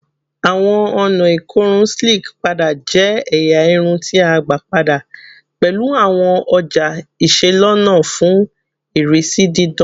Awọn ọna ikorun Slick pada jẹ ẹya irun ti a gba pada pẹlu awọn ọja iselona fun irisi didan